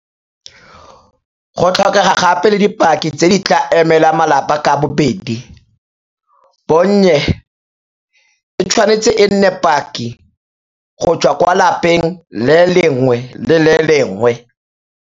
Go tlhokega gape le dipaki tse di tla emelang malapa ka bobedi, bonnye e tshwanetse e nne paki go tswa kwa lapeng le lengwe le le lengwe.